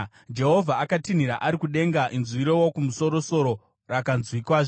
Jehovha akatinhira ari kudenga; inzwi reWokumusoro-soro rakanzwikazve.